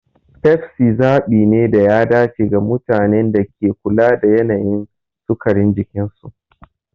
Pepsi zabi ne da ya dace ga mutanen da ke kula da yanayin sukarin jikinsu.